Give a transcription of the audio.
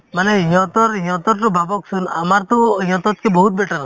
মানে সিহঁতৰ সিহঁতৰতো ভাবকচোন আমাৰতো সিহঁততকে বহুত better আছে